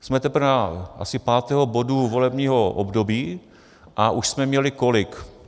Jsme teprve asi u pátého bodu volebního období a už jsme měli kolik?